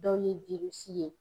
Dɔw ye ye.